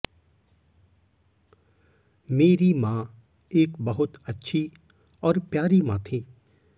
मेरी मां एक बहुत अच्छी और प्यारी मां थी